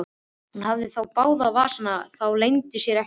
Hún hafði þá báða í vasanum, það leyndi sér ekki.